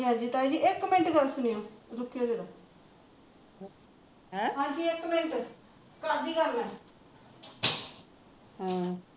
ਹਾਜੀ ਤਾਈ ਜੀ ਇੱਕ ਮਿੰਟ ਹਾਜੀ ਇੱਕ ਮਿੰਟ